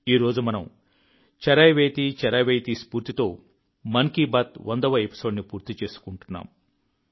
ఈ రోజు మనం చరైవేతి చరైవేతి స్ఫూర్తితో మన్ కీ బాత్ 100వ ఎపిసోడ్ని పూర్తి చేస్తున్నాం